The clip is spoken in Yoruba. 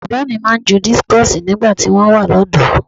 Bàbá mi máa ń ju dískọ̀sì nígbà tí wọ́n wà lọ́dọ̀ọ́.